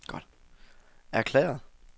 erklæret